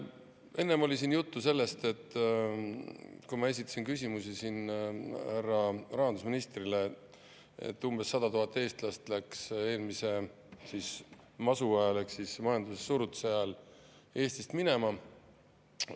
Enne, kui ma esitasin küsimusi härra rahandusministrile, oli siin juttu sellest, et umbes 100 000 eestlast läks eelmise masu ehk majandussurutise ajal Eestist minema.